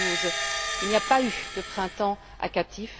2012. Il n'y a pas eu de printemps à Qatif.